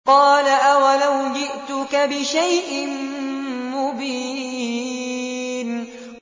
قَالَ أَوَلَوْ جِئْتُكَ بِشَيْءٍ مُّبِينٍ